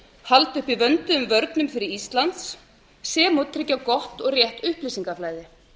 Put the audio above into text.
halda uppi vönduðum vörnum fyrir ísland sem og tryggja gott og rétt upplýsingaflæði